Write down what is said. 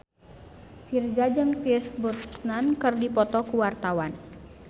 Virzha jeung Pierce Brosnan keur dipoto ku wartawan